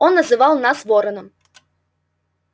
он называл вас вороном